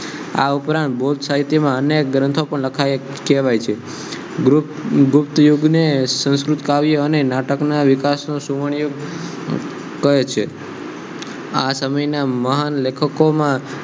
આ ઉપરાંત બૌદ્ધ સાહિત્યમાં અનેક ગ્રંથો પણ લખાયેલા કહેવાય છે ગ્રુપ યુગ ને સંસ્કૃત કાવ્ય અને નાટક ના વિકાસનો સુવર્ણીય કહે છે આ સમયના મહાન લેખકોમાં